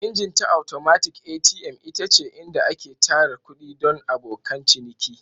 Ingin ta atomatik (ATM) ita ce inda ake tara kuɗi don abokan ciniki.